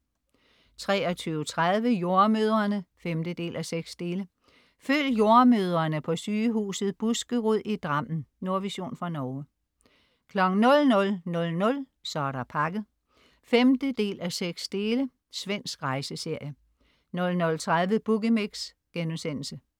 23.30 Jordemødrene 5:6. Følg jordemødrene på Sygehuset Buskerud i Drammen. Nordvision fra Norge 00.00 Så er der pakket 5:6. Svensk rejseserie 00.30 Boogie Mix*